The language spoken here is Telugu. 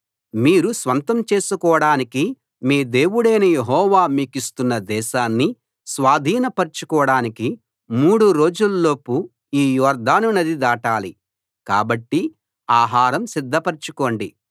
మీరు స్వంతం చేసుకోడానికి మీ దేవుడైన యెహోవా మీకిస్తున్న దేశాన్ని స్వాధీనపరచుకోడానికి మూడు రోజుల్లోపు ఈ యొర్దాను నది దాటాలి కాబట్టి ఆహారం సిద్ధపరచుకోండి